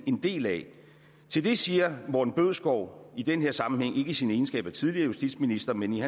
en del af til det siger morten bødskov i den her sammenhæng ikke i sin egenskab af tidligere justitsminister men i